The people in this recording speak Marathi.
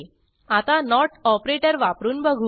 आता नोट ऑपरेटर वापरून बघू